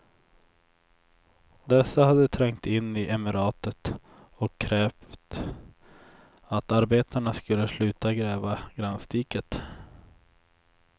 Dessa hade trängt in i emiratet och krävt att arbetarna skulle sluta gräva gränsdiket.